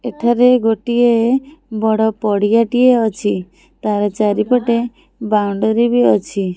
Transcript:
ଏଠାରେ ଗୋଟିଏ ବଡ଼ ପଡିଆ ଟିଏ ଅଛି ତାର ଚାରିପଟେ ବାଉଣ୍ଡ୍ରି ବି ଅଛି।